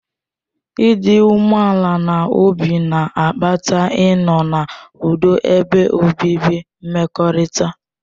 Ịdị umeala n'obi na-akpata ịnọ n'ụdo ebe obibi mmekọrịta.